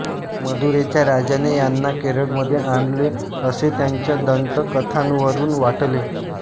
मदुरेच्या राजाने ह्यांना केरळमध्ये आणले असे त्यांच्या दंतकथांवरून वाटते